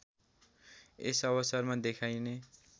यस अवसरमा देखाइने